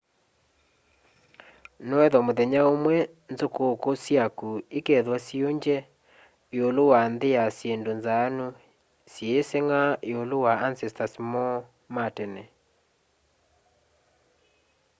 noethwa muthenya umwe nzukuku syaku ikethwa siungye iulu wa nthi ya syindu nzaanu syiisenga iulu wa ancestors moo ma tene